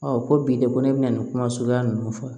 ko bi de ko ne bɛna nin kuma suguya ninnu fɔ